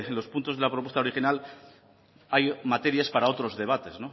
los puntos de la propuesta original hay materias para otros debates